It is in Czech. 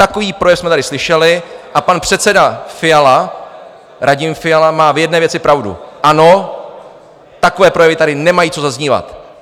Takový projev jsme tady slyšeli a pan předseda Fiala, Radim Fiala, má v jedné věci pravdu: ano, takové projevy tady nemají co zaznívat.